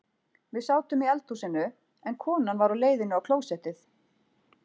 Við sátum í eldhúsinu en konan var á leiðinni á klósettið.